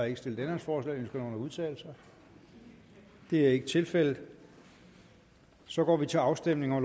ikke stillet ændringsforslag ønsker nogen at udtale sig det er ikke tilfældet og så går vi til afstemning